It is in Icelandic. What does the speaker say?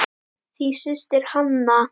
Þín systir, Hanna.